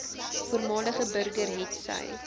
voormalige burger hetsy